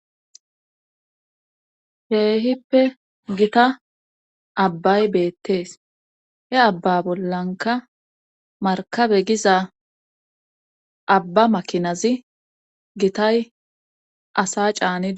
Keehippe gita abbay beettees he abba bollanka markabe giza abba maakinazi gitay asa caanidi